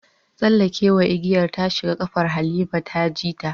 Tsallekewa igiyar ta shiga kafar Halima ta ji ta